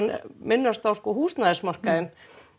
minnast á húsnæðismarkaðinn